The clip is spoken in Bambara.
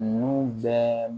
Ninnu bɛɛ